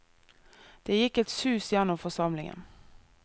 Det gikk et sus gjennom forsamlingen.